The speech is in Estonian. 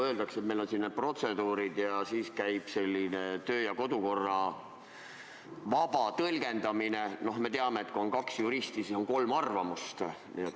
Öeldakse, et meil on siin need protseduurid, ja käib selline kodu- ja töökorra vaba tõlgendamine – no me teame, et kui on kaks juristi, siis on kolm arvamust.